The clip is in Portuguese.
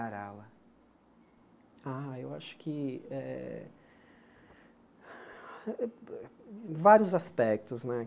aula Ah, eu acho que eh... Vários aspectos, né?